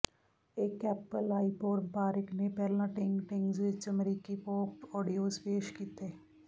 ਇੱਕ Apple iPod ਵਪਾਰਿਕ ਨੇ ਪਹਿਲਾਂ ਟਿੰਗ ਟਿੰਗਜ਼ ਵਿੱਚ ਅਮਰੀਕੀ ਪੌਪ ਆਡੀਓਜ਼ ਪੇਸ਼ ਕੀਤੇ